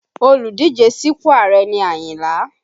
Olùdíje sípò Ààrẹ ni Ayinla